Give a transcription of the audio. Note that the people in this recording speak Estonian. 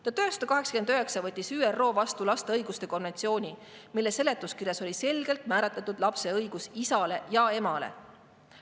1989 võttis ÜRO vastu lapse õiguste konventsiooni, mille seletuskirjas oli selgelt määratletud lapse õigus isale ja emale.